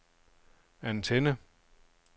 antenne